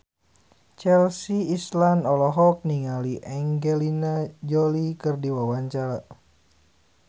Chelsea Islan olohok ningali Angelina Jolie keur diwawancara